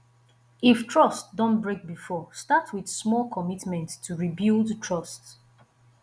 if trust don break before start with small commitment to rebuild trust